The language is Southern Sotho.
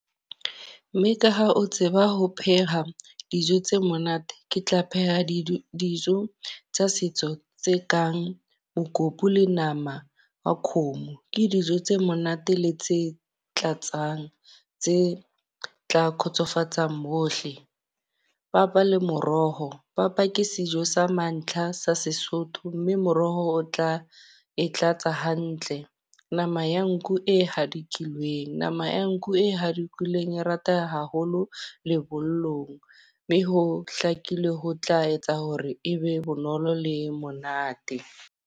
Mme ka ha o tseba ho pheha dijo tse monate. Ke tla pheha di dijo tsa setso tse kang mokopu le nama wa khomo. Ke dijo tse monate le tse tlatsang, tse tla khotsofatsang bohle. Papa le moroho. Papa ke sejo sa mantlha sa Sesotho. mme moroho o tla e tlatsa hantle. Nama ya nku e hadikilweng, nama ya nku e hadikilweng e rata haholo lebollong. Mme ho hlakile ho tla etsa hore e be bonolo le monate.